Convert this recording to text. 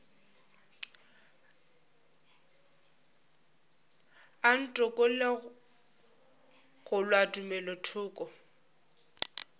a ntokolle go kgolwa tumelothoko